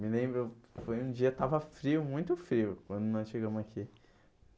Me lembro, foi um dia que estava frio, muito frio, quando nós chegamos aqui.